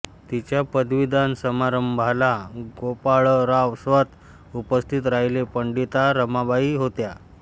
तिच्या पदवीदान समारंभाला गोपाळराव स्वतः उपस्थित राहिले पंडिता रमाबाई होत्या